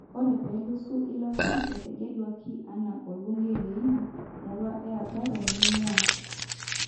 Ore peluso ilo ari ,etegeluaki ana obungei leina murua e Agaro neinguaa.